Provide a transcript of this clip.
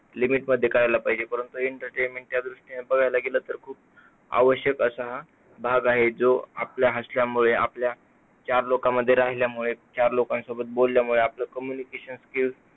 Limit मध्ये करायला पाहिजे. परंतु entertainment च्या दृष्टीने आपण बघायला गेलो तर हा खूप आवश्यक भाग आहे. आपल्या असल्यामुळे आपल्या चार लोकांमध्ये राहिल्यामुळे चार लोकांसोबत बोलल्यामुळे आपलं communication skills